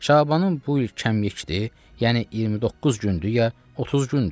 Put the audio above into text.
Şabanın bu ay kəmiyikdir, yəni 29 gündür, ya 30 gündür?